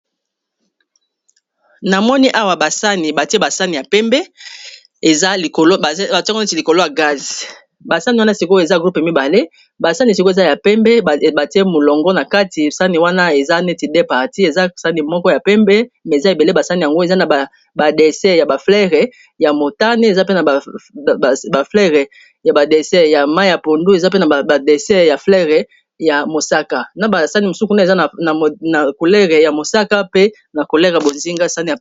na moni awa basani batie basani ya pembe batianko neti likolo ya gas basani wana sikoyo eza groupe mibale basani sikoo eza ya pembe batie molongo na kati sani wana eza neti d parti eza sani moko ya pembe me eza ebele basani yango eza na badesse ya baflere ya motane eza pe na bafleres ya badesser ya mai ya pondu eza pe na ba desser ya fleres ya mosaka na basani mosuku nde eza na na kolere ya mosaka pe na kolera bozinga sani yaa